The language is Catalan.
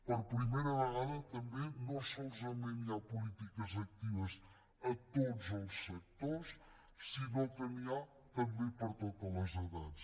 per primera vegada també no solament hi ha polítiques actives a tots els sectors sinó que n’hi ha també per a totes les edats